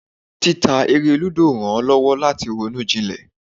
Títa eré lúdò rán lowo lati ronú jilè.